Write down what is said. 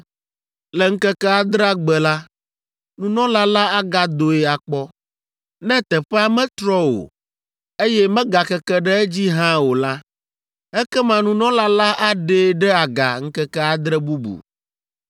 Le ŋkeke adrea gbe la, nunɔla la agadoe akpɔ. Ne teƒea metrɔ o, eye megakeke ɖe edzi hã o la, ekema nunɔla la aɖee ɖe aga ŋkeke adre bubu.